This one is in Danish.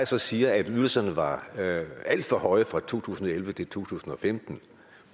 så siger at ydelserne var alt for høje fra to tusind og elleve til to tusind og femten